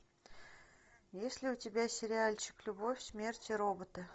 есть ли у тебя сериальчик любовь смерть и роботы